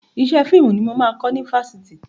Iṣẹ́ fíìmù ni mo máa kọ́ mi fásitì.